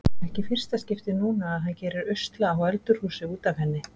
Ekki í fyrsta skipti núna að hann gerir usla á öldurhúsi út af henni.